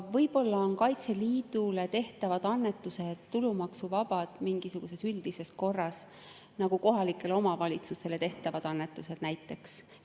Võib-olla on Kaitseliidule tehtavad annetused tulumaksuvabad mingisuguses üldises korras, nagu kohalikele omavalitsustele tehtavad annetused näiteks.